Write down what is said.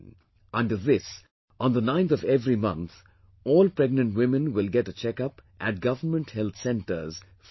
Under this, on the 9th of every month, all pregnant women will get a checkup at government health centers free of cost